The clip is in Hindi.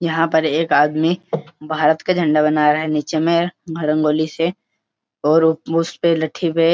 यहां पर एक आदमी भारत का झंडा बना रहा है नीचे मे रंगोली से और उ-उसपे लठी से --